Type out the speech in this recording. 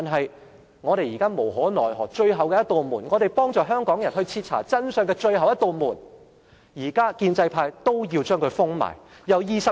然而，我們在無可奈何下採用的最後一扇門，我們可以幫助香港人徹查真相的最後一扇門，建制派現在也要將它封上。